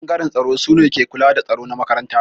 Ɓangaren tsaro sune ke kula da tsaro na makaranta.